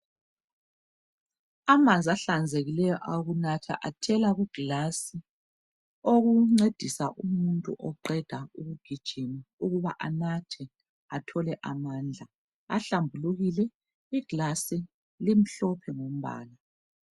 Amanzi ehlanzekileyo awokunatha ayhela kuglasi Okuncedisa umuntu oqeda ukugijima ukuba anathe athole amandla. Ahlambulukile iglasi limhlophe umbala.